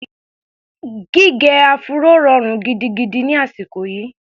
Gígẹ áfúró rọrùn gidigidi ni àsìkò yìí.